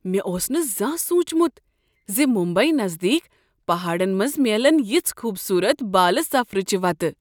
مےٚ اوس نہٕ زانٛہہ سوچمت ز ممبیی نزدیک پہاڑن منٛز میلن یژھہٕ خوبصورت بالہ سفرٕچہ وتہٕ۔